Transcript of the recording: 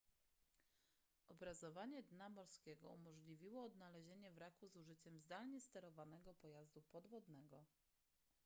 obrazowanie dna morskiego umożliwiło odnalezienie wraku z użyciem zdalnie sterowanego pojazdu podwodnego